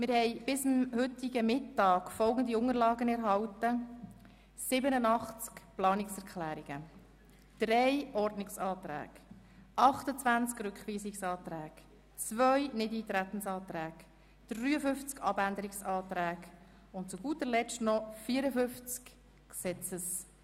Wir haben bis heute Mittag folgende Unterlagen erhalten: 87 Planungserklärungen, drei Ordnungsanträge, 28 Rückweisungsanträge, zwei Nichteintretensanträge, 53 Abänderungsanträge und zu guter Letzt noch 54 Gesetzesanträge.